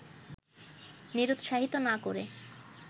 নিরুৎসাহিত না করে